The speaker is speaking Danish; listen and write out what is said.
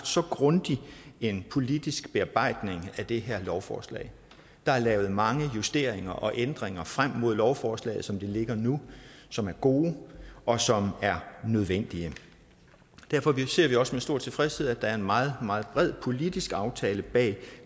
så grundig en politisk bearbejdning af det her lovforslag der er lavet mange justeringer og ændringer frem mod lovforslaget som det ligger nu som er gode og som er nødvendige derfor ser vi også med stor tilfredshed at der er en meget meget bred politisk aftale bag